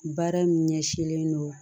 Baara min ɲɛsinlen don